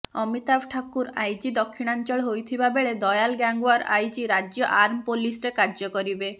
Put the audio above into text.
Amitabh Thakur IG ଦକ୍ଷିଣାଞ୍ଚଳ ହୋଇଥିବା ବେଳେ ଦୟାଲ ଗ୍ୟାଙ୍ଗୱାର ଆଇଜି ରାଜ୍ୟ ଆର୍ମ ପୋଲିସରେ କାର୍ଯ୍ୟ କରିବେ